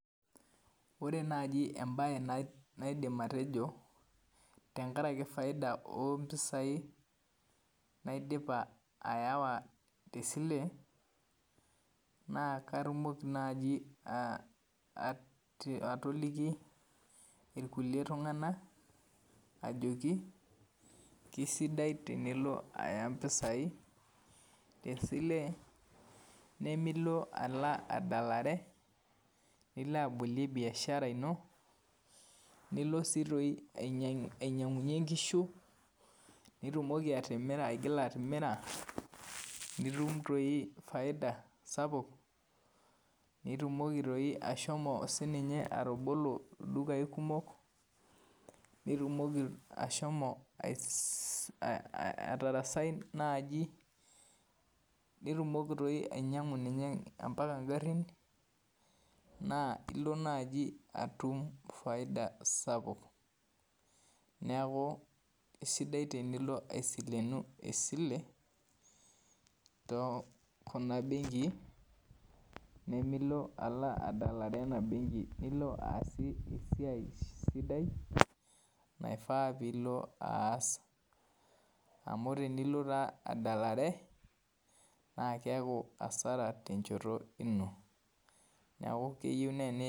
Ore naaji embaye naidim atejo tenkaraki faida oompisai naidipa awa tesile naa katumoki naaji otoliki irkulie tung'anak ajoki isidai tinilo aya impisai tesile nimilo adalare nilo abolie biashara ino nilo ainyiang'unyie inkishu nitumoki atimira nitum toi faida sapuk nitumoki ashomo atabolo ildukai atarasi naaji nitumoki naaji ainyiang'u ombaka ingarin naa ilo naaji atum faida sapuk neeku isidai tenilo aisilenu esile toonkuna benkii nimilo adalare ena benki lino aasie esiai sidai naifaa nilo aas amu tenilo taa adalare naa keeku hasara tenchoto ino